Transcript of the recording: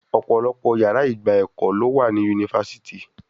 Ọ̀pọ̀lọpọ̀ yàrá ìgba ẹ̀kọ́ ló wà ní yunifásítì.